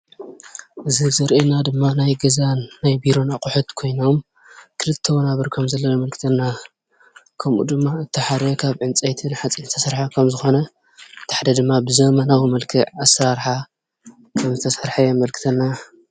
እዚ ዘርኤና ድማ ናይ ገዛን ናይ ቢሮን ኣቑሑ ት ኮይኖም ክልተ ወናብር ከምዘለዉ የመልክተና፡፡ ከምኡ ድማ እቲ ሓደ ካብ ዕንፀይቲ ሓፂንን ዝተሰርሐ ከምዝኾነ እቲ ሓደ ድማ ብዘመናዊ መልክዕ ኣሰራርሓ ከምዝተሰርሐ የመልክተና፡፡